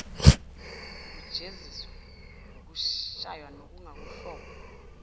ukujeziswa ngokushaywa nokwakuwuhlobo